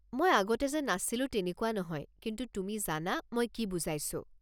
মই আগতে যে নাছিলোঁ তেনেকুৱা নহয়, কিন্তু তুমি জানা মই কি বুজাইছোঁ।